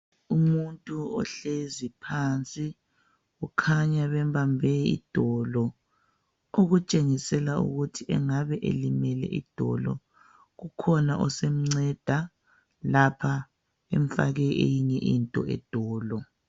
Umuntu ohlezi phansi ukhanya bembambe idolo okutshengisela ukuthi angabe elimele idolo. Kukhona osemnceda lapha emfake eyinye into edolo.